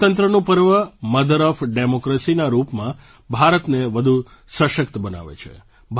આપણા લોકતંત્રનું પર્વ મધર ઑફ ડેમોક્રેસીના રૂપમાં ભારતને વધુ સશક્ત બનાવે છે